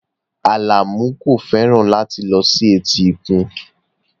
Alamu kò fẹ́ràn láti lọ sí etíkun